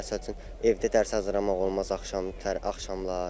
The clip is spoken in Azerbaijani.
Məsəl üçün evdə dərs hazırlamaq olmaz axşamlar.